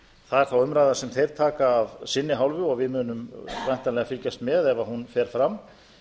það er þá umræða sem þeir taka af sinni hálfu og við munum væntanlega fylgjast með ef hún fer fram